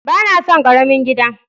Ba na son karamin gida.